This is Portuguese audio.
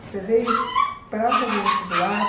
Você veio para fazer vestibular.